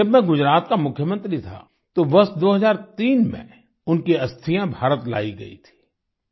जब मैं गुजरात का मुख्यमंत्री था तो वर्ष 2003 में उनकी अस्थियां भारत लाई गईं थीं